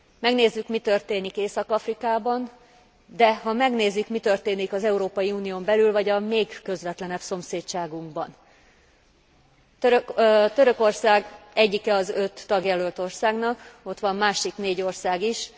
Megnézzük, mi történik Észak Afrikában, de ha megnézik, hogy mi történik az Európai Unión belül vagy a még közvetlenebb szomszédságunkban, Törökország egyike az öt tagjelölt országnak, de ott van másik négy ország is.